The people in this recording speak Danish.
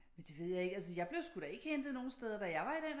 Men det ved jeg ikke altså jeg blev sgu da ikke hentet nogle steder da jeg var i den alder